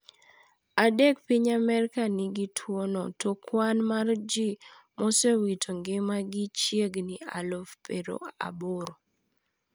Adek piny Amerika nigi tuwo no to kwan mar ji mosewito ngimagi chiegni aluf pero aboro